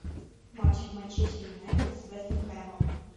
матч манчестер юнайтед с вестом хэмом